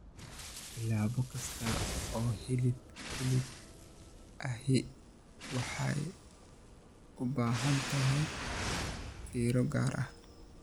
Tallaabo kasta oo hilib hilib ahi waxay u baahan tahay fiiro gaar ah.